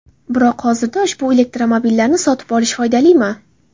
Biroq hozirda ushbu elektromobillarni sotib olish foydalimi?